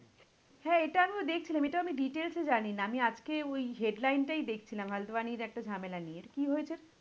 হ্যাঁ এইটা আমিও দেখছিলাম এইটা আমি details এ জানি না, আমি আজকে ওই headline টাই দেখছিলাম একটা ঝামেলা নিয়ে, কি হয়েছে?